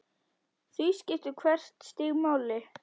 Því skiptir hvert stig máli.